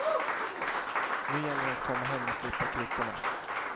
Nu gäller det att komma hem och slippa kryckorna.